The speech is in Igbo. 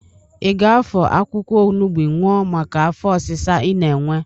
Ị ga-afọ akwụkwọ ọnụgbụ ñụa maka afọ ọsịsa ị na-ewe?